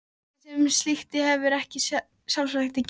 Hjónabandið sem slíkt hefur ekkert sjálfstætt gildi.